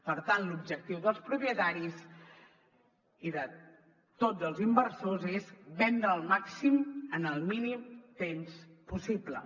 per tant l’objectiu dels propietaris i de tots els inversors és vendre el màxim en el mínim temps possible